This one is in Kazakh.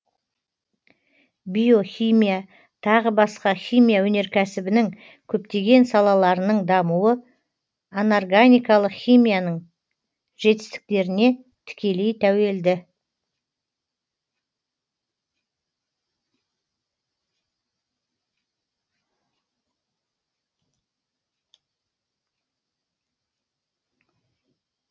биохимия тағы басқа химия өнеркәсібінің көптеген салаларының дамуы анорганикалық химияның жетістіктеріне тікелей тәуелді